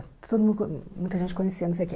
Todo mundo co muita gente conhecia, não sei o quê.